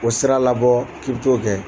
O sira labɔ k'i b'i t'o kɛ